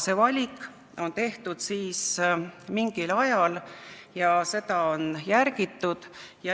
See valik on mingil ajal tehtud ja seda on järgitud.